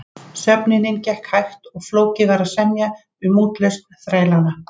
Söfnunin gekk hægt og flókið var að semja um útlausn þrælanna.